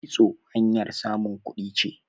kitso hanyar samun kuɗi ce